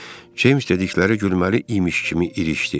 James dedikləri gülməli imiş kimi irişdi.